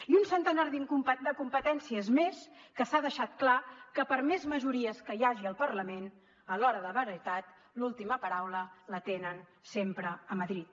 i un centenar de competències més que s’ha deixat clar que per més majories que hi hagi al parlament a l’hora de la veritat l’última paraula la tenen sempre a madrid